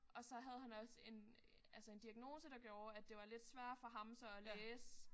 Og så havde han også en altså en diagnose der gjorde at det var lidt sværere for ham så at læse